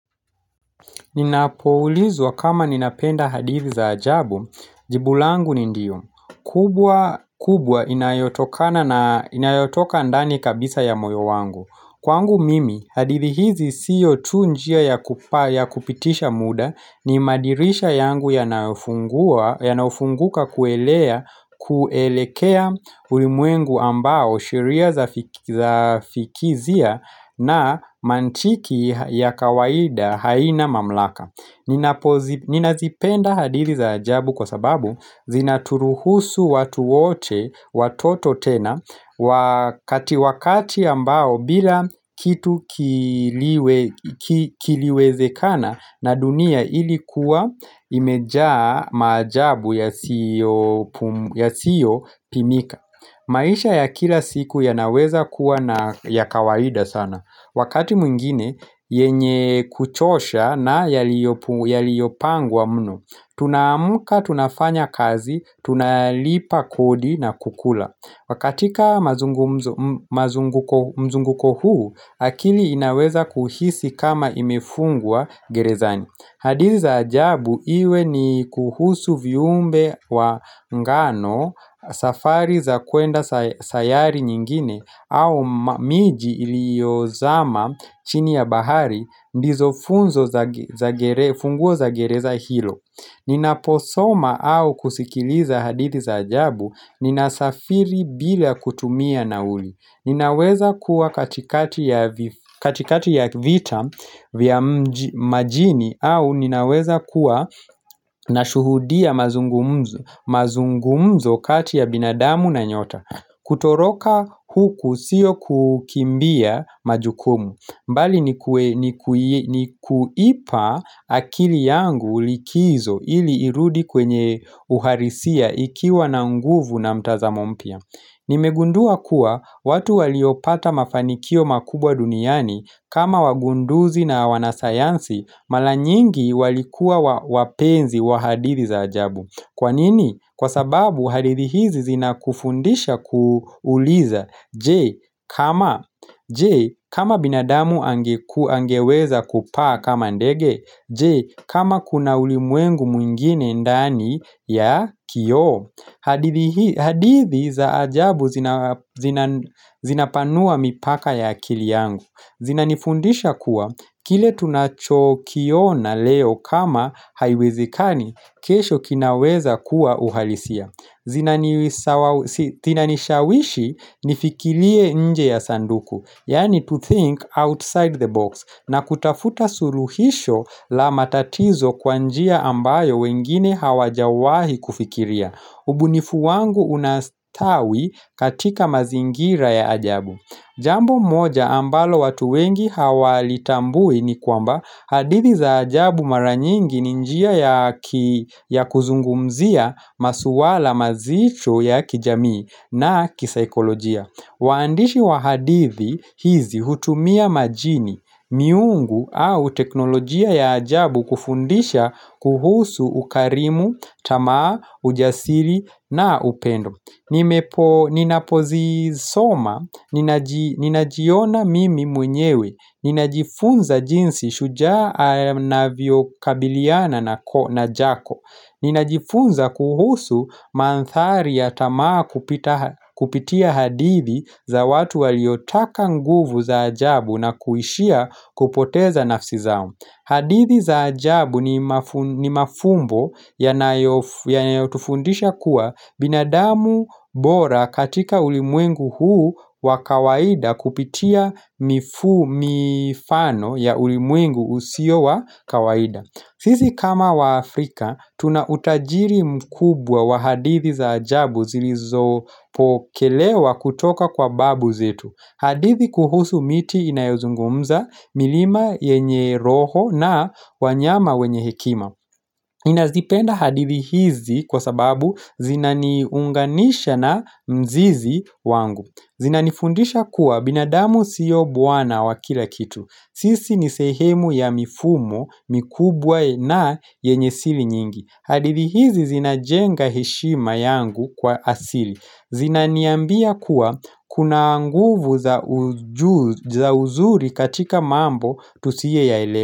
Ninapoulizwa kama ninapenda hadithi za ajabu, jibu langu ni ndiyo kubwa inayotoka ndani kabisa ya moyo wangu Kwangu mimi, hadithi hizi siyo tu njia ya kupitisha muda ni madirisha yangu yanaofunguka kuelekea ulimwengu ambao sheria za fikizia na mantiki ya kawaida haina mamlaka Ninazipenda hadiri za ajabu kwa sababu Zinaturuhusu watu wote watoto tena Wakati ambao bila kitu kiliwezekana na dunia ilikuwa imejaa majabu yasiyo pimika maisha ya kila siku yanaweza kuwa na ya kawaida sana. Wakati mwingine yenye kuchosha na yaliopangwa mno. Tunaamuka, tunafanya kazi, tunalipa kodi na kukula. Katika mzunguko huu, akili inaweza kuhisi kama imefungwa gerezani. Hadithi za ajabu iwe ni kuhusu viumbe wa ngano safari za kuenda sayari nyingine au miji iliozama chini ya bahari ndizo funguo za gereza hilo. Ninaposoma au kusikiliza hadithi za ajabu Ninasafiri bila kutumia nauli Ninaweza kuwa katikati ya vita vya majini au ninaweza kuwa nashuhudia mazungumzo kati ya binadamu na nyota Kutoroka huku siyo kukimbia majukumu mbali ni kuipa akili yangu likizo ili irudi kwenye uharisia ikiwa na nguvu na mtazamo mpya Nimegundua kuwa watu waliopata mafanikio makubwa duniani kama wagunduzi na wanasayansi mala nyingi walikuwa wapenzi wa hadithi za ajabu Kwa nini? Kwa sababu hadithi hizi zina kufundisha kuuliza Je, kama binadamu angeweza kupaa kama ndege Je, kama kuna ulimwengu mwingine ndani ya kio hadithi za ajabu zinapanua mipaka ya akili yangu Zinanifundisha kuwa, kile tunacho kiona leo kama haiwezekani kesho kinaweza kuwa uhalisia Zinanishawishi nifikilie nje ya sanduku Yani to think outside the box na kutafuta suruhisho la matatizo kwa njia ambayo wengine hawajawahi kufikiria ubunifu wangu unastawi katika mazingira ya ajabu Jambo moja ambalo watu wengi hawalitambui ni kwamba hadithi za ajabu mara nyingi ni njia ya kuzungumzia masuwala mazicho ya kijamii na kisaikolojia waandishi wa hadithi hizi hutumia majini, miungu au teknolojia ya ajabu kufundisha kuhusu ukarimu, tamaa, ujasiri na upendo Ninapozisoma, ninajiona mimi mwenyewe, ninajifunza jinsi shujaa anavyokabiliana na jako Ninajifunza kuhusu manthari ya tamaa kupitia hadithi za watu waliotaka nguvu za ajabu na kuishia kupoteza nafsi zao hadithi za ajabu ni mafumbo yanayotufundisha kuwa binadamu bora katika ulimwengu huu wa kawaida kupitia mifano ya ulimwengu usio wa kawaida. Sisi kama Waafrika, tuna utajiri mkubwa wa hadithi za ajabu zilizopokelewa kutoka kwa babu zetu. Hadithi kuhusu miti inayozungumza milima yenye roho na wanyama wenye hekima ninazipenda hadithi hizi kwa sababu zinaniunganisha na mzizi wangu Zinanifundisha kuwa binadamu siyo buwana wa kila kitu Sisi ni sehemu ya mifumo mikubwa na yenye sili nyingi hadithi hizi zinajenga heshima yangu kwa asili Zinaniambia kuwa kuna nguvu za uzuri katika mambo tusieyaelewa.